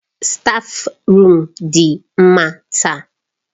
Stáfruum dị mma taa.